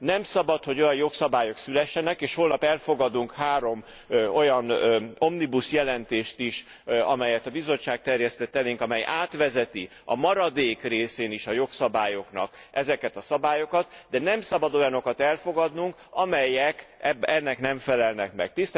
Nem szabad, hogy olyan jogszabályok szülessenek, és holnap elfogadunk három olyan omnibus jelentést is, amelyet a Bizottság terjesztett elénk, amely átvezeti a maradék részén is a jogszabályoknak ezeket a szabályokat, de nem szabad olyanokat elfogadnunk, amelyek ennek nem felelnek meg.